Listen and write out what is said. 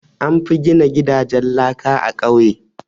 An fi gina gidajen laka a ƙauye.